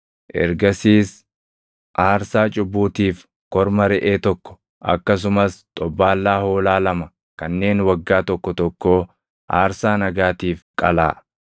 Ergasiis aarsaa cubbuutiif korma reʼee tokko akkasumas xobbaallaa hoolaa lama kanneen waggaa tokko tokkoo aarsaa nagaatiif qalaa.